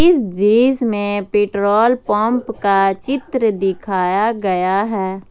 इस दृश्य में पेट्रोल पंप का चित्र दिखाया गया है।